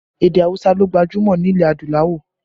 Èdè awusa ló gbajúmọ̀ nílẹ̀ adúláwọ̀